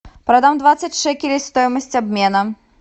продам двадцать шекелей стоимость обмена